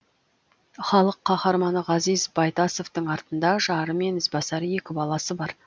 халық қаһарманы ғазиз байтасовтың артында жары мен ізбасар екі баласы бар